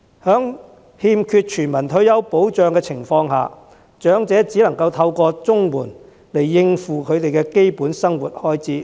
在欠缺全民退休保障的情況下，長者只能夠透過綜援來應付基本生活開支。